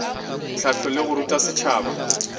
hlahlo le go ruta setšhaba